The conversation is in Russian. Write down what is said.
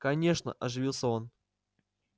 конечно оживился он